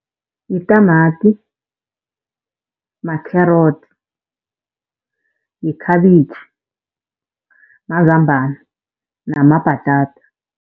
Yitamati, ma-carrots, yikhabitjhi, mazambana namabhatata.